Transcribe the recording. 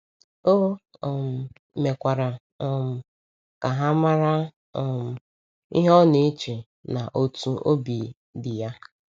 O um mekwara um ka ha mara um ihe ọ na - eche na otú obi dị ya.